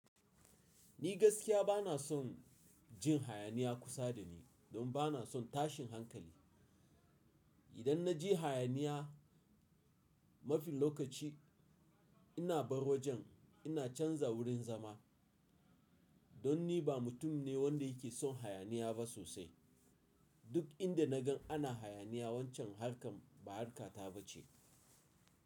Ni gaskiya bana son jin hayaniya kusa da ni don bana son tashin hankali. Idan na ji hayaniya, mafi lokaci ina bar wajen ina canza wurin zama. Don ni ba mutum ne wanda yake son hayaniya ba sosai. Duk inda na gan ana hayaniya wancan harkar ba harka ta ba ce.